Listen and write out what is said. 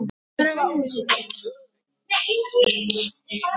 Hefur þú verið á túr?